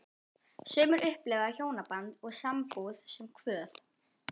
Sumir upplifa hjónaband og sambúð sem kvöð.